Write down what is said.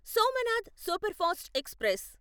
Somnath superfast express